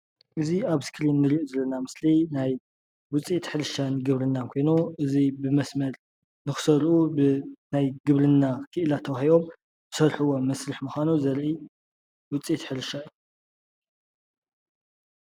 እዚ ኣብ እስክሪን እንሪኦ ዘለና ምስሊ ናይ ዉፅኢት ሕርሻን ግብርናን ኮይኑ እዚ ብመስመር ንኽዘርኡ ብናይ ግብርና ኪኢላ ተዋሂቦም ዝሰርሕዎ መስርሕ ምኳኑ ዘርኢ ዉፅኢት ሕርሻ እዩ።